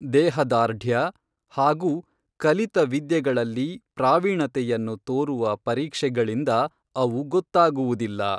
ದೇಹದಾರ್ಢ್ಯ ಹಾಗೂ ಕಲಿತ ವಿದ್ಯೆಗಳಲ್ಲಿ ಪ್ರಾವೀಣತೆಯನ್ನು ತೋರುವ ಪರೀಕ್ಷೆಗಳಿಂದ ಅವು ಗೊತ್ತಾಗುವುದಿಲ್ಲ